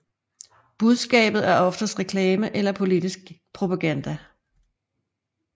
Budskabet er oftest reklame eller politisk propaganda